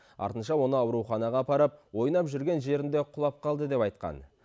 артынша оны ауруханаға апарып ойнап жүрген жерінде құлап қалды деп айтқан